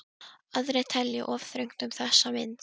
Aðrir telja of þröngt um þessa mynd.